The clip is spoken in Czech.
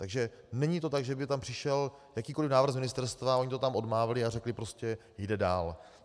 Takže není to tak, že by tam přišel jakýkoliv návrh z ministerstva, oni to tam odmávli a řekli prostě jde dál.